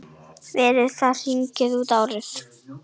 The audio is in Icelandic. Verið að hringja út árið.